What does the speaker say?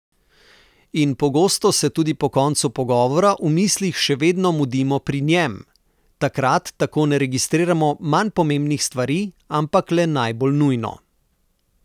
In pogosto se tudi po koncu pogovora v mislih še vedno mudimo pri njem, takrat tako ne registriramo manj pomembnih stvari, ampak le najbolj nujno.